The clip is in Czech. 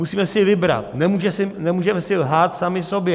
Musíme si vybrat, nemůžeme si lhát sami sobě.